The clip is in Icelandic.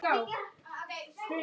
Hún var alla tíð heima.